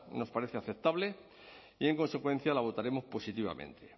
nos parece aceptable y en consecuencia la votaremos positivamente